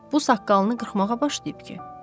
Bu saqqalını qırxmağa başlayıb ki?